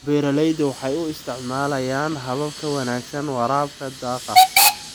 Beeraleydu waxay u isticmaalayaan habab ka wanaagsan waraabka daaqa.